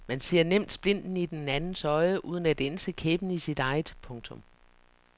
Man ser nemt splinten i den andens øje uden at ænse kæppen i sit eget. punktum